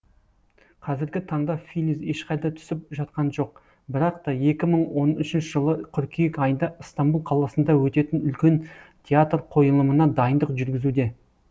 қазіргі таңда филиз ешқайда түсіп жатқан жоқ бірақ та екі мың он үшінші жылы қыркүйек айында ыстамбұл қаласында өтетін үлкен театр қойылымына дайындық жүргізуде